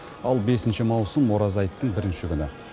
ал бесінші маусым ораза айттың бірінші күні